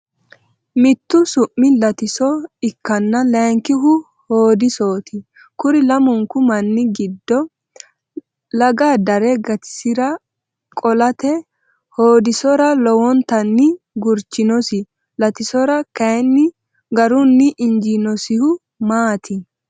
Mittu su’mi Latiso ikkanna layinkihu Hoodisooti. Kuri lamunku manni giddo laga dare gatisira qo’late Hoodisora lowontanni gurchinosi. Latisora kayinni garunni injiinosihu maati?